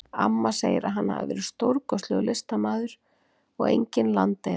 Amma segir að hann hafi verið stórkostlegur listamaður og engin landeyða.